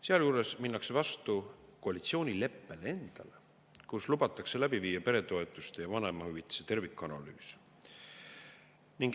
Sealjuures minnakse vastu koalitsioonileppele endale, milles lubatakse läbi viia peretoetuste ja vanemahüvitise tervikanalüüs.